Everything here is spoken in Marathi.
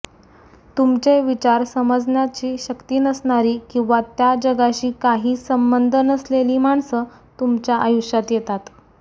तुमचे विचार समजण्याची शक्ती नसणारी किंवा त्या जगाशी काही संबंध नसलेली माणसं तुमच्या आयुष्यात येतात